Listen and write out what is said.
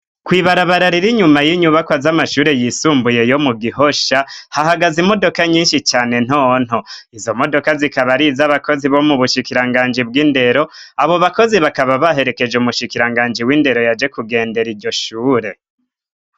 Kw'ibarabara riri inyuma y'inyubakwa z'amashure yisumbuye yo mu Gihosha hahagaze imodoka nyinshi cane ntonto izo modoka zikaba ariz'abakozi bo mu bushikiranganji bw'indero. Abo bakozi bakaba baherekeje umushikiranganji w'indero yaje kugendera iryo shure.